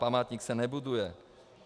Památník se nebuduje.